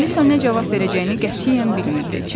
Alisa nə cavab verəcəyini qətiyyən bilmirdi.